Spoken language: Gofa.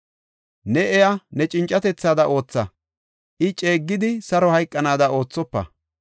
Ne iya ne cincatethaada ootha; I ceeggidi saro hayqanaada oothofa.